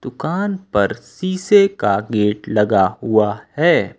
दुकान पर शीशे का गेट लगा हुआ है।